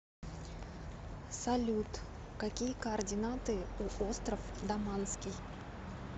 салют какие координаты у остров даманский